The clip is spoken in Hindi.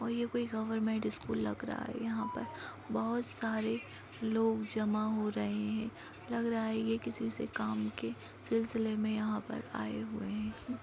और ये कोई गवर्नमेंट स्कूल लग रहा है। यहां पर बहोत सारे लोग जमा हो रहे हैं। लग रहा है ये किसी से काम के सिलसिले में यहाँ पर आए हुए हैं।